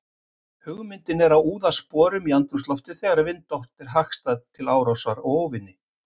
Hugmyndin er að úða sporum í andrúmsloftið þegar vindátt er hagstæð til árásar á óvini.